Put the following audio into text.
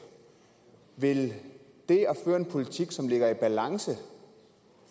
vil det at føre en politik som ligger i balance